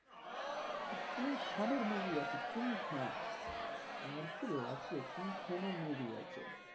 King খানের movie আছে King Khan. আর কি লাগবে? কিং খানের movie আছে।